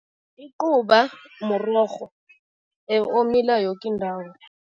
Icuba mrorho omila yoke indawo.